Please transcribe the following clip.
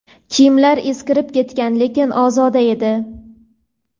Kiyimlari eskirib ketgan, lekin ozoda edi.